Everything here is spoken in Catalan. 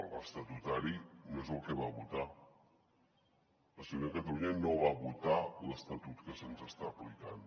l’estatutari no és el que va votar la ciutadania de catalunya no va votar l’estatut que se’ns està aplicant